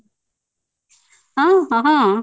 ହଁ ହଁ ହଁ ,